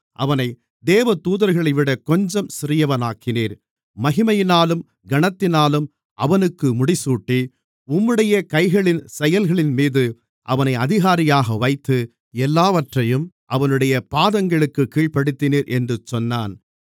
அவனை தேவதூதர்களைவிட கொஞ்சம் சிறியவனாக்கினீர் மகிமையினாலும் கனத்தினாலும் அவனுக்கு முடிசூட்டி உம்முடைய கைகளின் செயல்களின்மீது அவனை அதிகாரியாக வைத்து எல்லாவற்றையும் அவனுடைய பாதங்களுக்குக் கீழ்ப்படுத்தினீர் என்று சொன்னான்